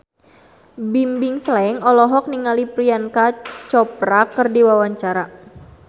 Bimbim Slank olohok ningali Priyanka Chopra keur diwawancara